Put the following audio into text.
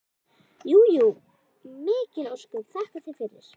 Jú jú, mikil ósköp, þakka þér fyrir.